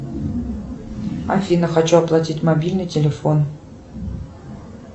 афина хочу оплатить мобильный телефон